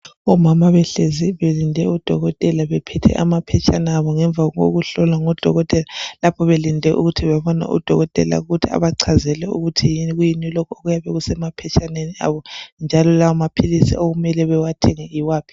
Omama behlezi belinde udokotela bephethe amaphetshana abo ngemva kokuhlolwa ngodokotela lapho belinde ukuthi bebone udokotela ukuthi abachazele ukuthi yikuyini lokhu okuyabe kusemaphetshaneni abo njalo lawo maphilisi okumele bawathenge yiwaphi.